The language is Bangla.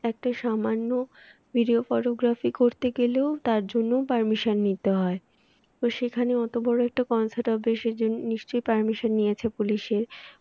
একটা সামান্য videography করতে গেলেও তার জন্যও পারমিশন নিতে হয় তো সেখানে অত বড় অত বড় একটা concert হবে সেদিন নিশ্চয়ই পারমিশন নিয়েছে পুলিশের